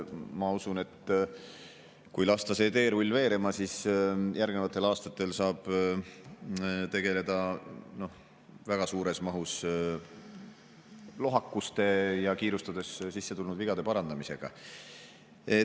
Ma usun, et kui lasta see teerull veerema, siis järgnevatel aastatel saab tegeleda väga suures mahus lohakuste ja kiirustades sisse tulnud vigade parandamisega.